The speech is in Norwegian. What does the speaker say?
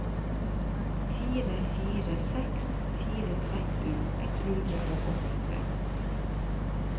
fire fire seks fire tretten ett hundre og åttitre